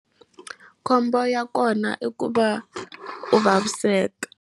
Khombo ya kona i ku va u vaviseka.